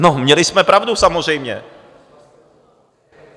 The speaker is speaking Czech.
No, měli jsme pravdu, samozřejmě.